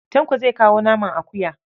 Tanko zai kawo naman akuya.